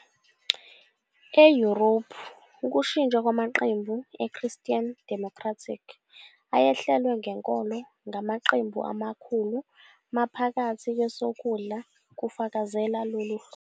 EYurophu ukushintsha kwamaqembu e-"Christian Democratic" ayehlelwe ngenkolo ngamaqembu amakhulu maphakathi kwesokudla kufakazela lolu hlobo.